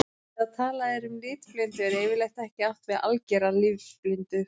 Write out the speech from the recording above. Þegar talað er um litblindu er yfirleitt ekki átt við að algera litblindu.